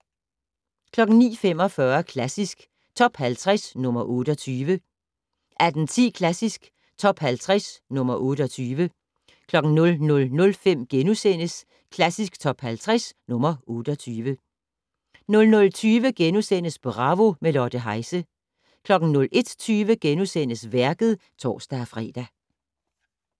09:45: Klassisk Top 50 - nr. 28 18:10: Klassisk Top 50 - nr. 28 00:05: Klassisk Top 50 - nr. 28 * 00:20: Bravo - med Lotte Heise * 01:20: Værket *(tor-fre)